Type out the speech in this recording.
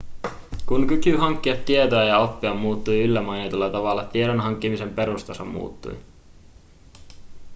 kun kyky hankkia tietoa ja oppia muuttui yllä mainitulla tavalla tiedon hankkimisen perustaso muuttui